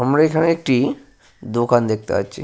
আমরা এখানে একটি দোকান দেখতে পাচ্ছি।